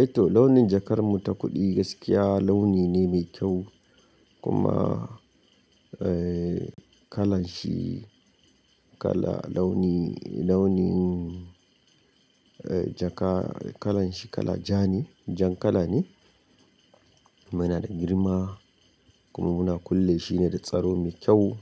Eh to launin jakar mu ta kuɗi gaskiya launi ne mai kyau kuma, eh kalan shi kala launi, launin eh jaka kalan shi kala ja ne, jan kala ne. Kuma yana da girma kuma muna kulle shine da tsaro mai kyau,